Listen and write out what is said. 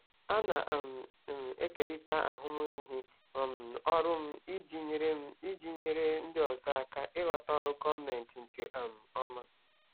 Ana um m ekerịta ahụmịhe um ọrụ m iji nyere m iji nyere ndị ọzọ aka ịghọta ọrụ gọọmentị nke um ọma.